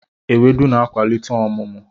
Ewedu na-akwalite ọmụmụ.